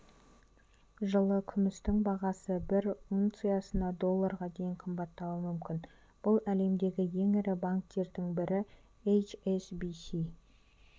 жылы күмістің бағасы бір унциясына долларға дейін қымбаттауы мүмкін бұл әлемдегі ең ірі банктердің бірі эйч-эс-би-си